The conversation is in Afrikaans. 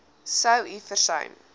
sou u versuim